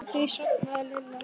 Út frá því sofnaði Lilla.